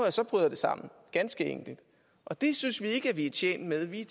at så bryder det sammen og det synes vi ikke at vi er tjent med vi